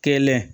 Kɛlɛn